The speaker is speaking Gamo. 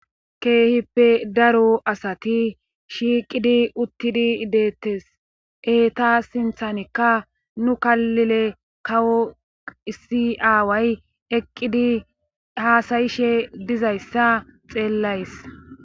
keehippe daro asati shiiqidi uttidi deettes eta sinthanikka nu killile kawo issi aaway eqqidi haasayishe dizayssa xeellays